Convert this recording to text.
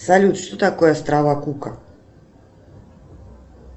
салют что такое острова кука